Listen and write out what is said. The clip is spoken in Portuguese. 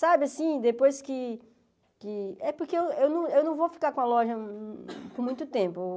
Sabe, assim, depois que que... É porque eu eu não eu não eu não vou ficar com a loja por muito tempo.